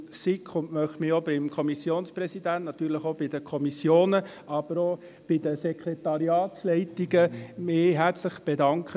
Ich möchte mich auch beim Kommissionspräsidenten und natürlich auch bei den Kommissionen, aber auch bei den Sekretariatsleitungen herzlich bedanken.